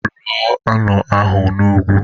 Rụọ ụnọ ahụ n'ugwu!